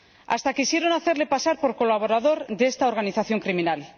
Hasta quisieron hacerle pasar por colaborador de esta organización criminal.